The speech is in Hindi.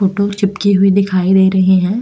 फोटो चिपके हुई दिखाई दे रही हैं।